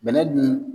Bɛnɛ dun